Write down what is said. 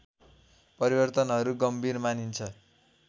परिवर्तनहरू गम्भीर मानिन्छ